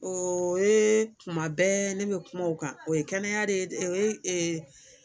O ye kuma bɛɛ ne bɛ kuma o kan o ye kɛnɛya de ye o ye